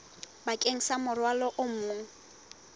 bakeng sa morwalo o mong